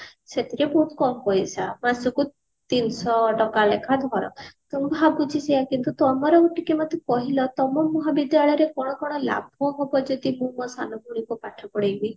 ସେଥିରେ ଖୁବ କମ ପଇସା ମାସକୁ ତିନିଶହ ଟଙ୍କା ଲେଖା ଧର ତ ଭାବୁଛି ସେଇଆ କିନ୍ତୁ ତମର ଟିକେ ମତେ କହିଲ ତମ ମହାବିଦ୍ୟାଳୟ ରେ କଣ କଣ ଲାଭ ହେବ ଯଦି ମୁଁ ମୋ ସାନ ଭଉଣୀ କୁ ପାଠ ପଢେଇବି